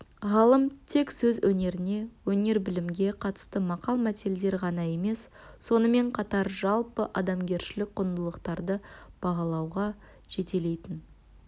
ғалым тек сөз өнеріне өнер-білімге қатысты мақал-мәтелдер ғана емес сонымен қатар жалпы адамгершілік құндылықтарды бағалауға жетелейтін